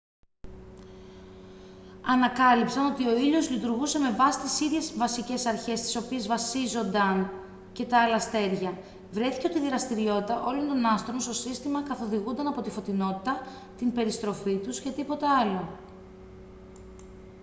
ανακάλυψαν ότι ο ήλιος λειτουργούσε με βάση τις ίδιες βασικές αρχές στις οποίες βασίζονταν και τα άλλα αστέρια βρέθηκε ότι η δραστηριότητα όλων των άστρων στο σύστημα καθοδηγούνταν από τη φωτεινότητα την περιστροφή τους και τίποτα άλλο